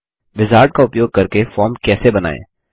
wizard का उपयोग करके फॉर्म कैसे बनायें